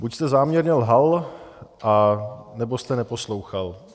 Buď jste záměrně lhal, anebo jste neposlouchal.